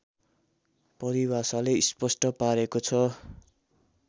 परिभाषाले स्पष्ट पारेको छ